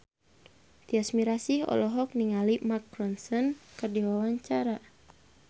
Tyas Mirasih olohok ningali Mark Ronson keur diwawancara